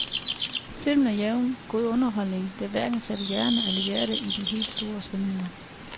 Filmen er jævnt god underholdning, der hverken sætter hjerne eller hjerte i de helt store svingninger.